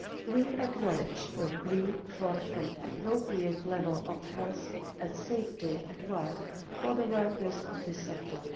We acknowledge the plea for an appropriate level of health and safety at work for the workers of this sector.